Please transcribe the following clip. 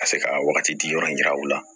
Ka se ka wagati di yɔrɔ in yira u la